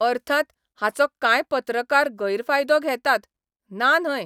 अर्थात, हाचो कांय पत्रकार गैरफायदो घेतात, ना न्हय.